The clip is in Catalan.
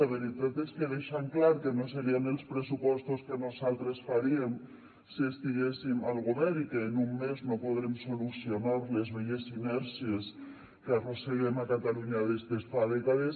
la veritat és que deixen clar que no serien els pressupostos que nosaltres faríem si estiguéssim al govern i que en un mes no podrem solucionar les velles inèrcies que arrosseguem a catalunya des de fa dècades